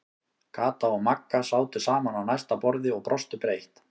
Kata og Magga sátu saman á næsta borði og brostu breitt.